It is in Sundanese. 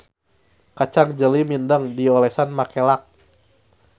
Kacang jeli mindeng diolesan make lak.